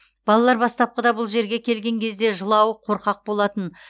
балалар бастапқыда бұл жерге келген кезде жылауық қорқақ болатын